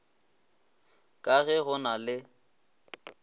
ka ge go na le